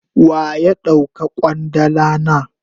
Waya dauka kwandala na?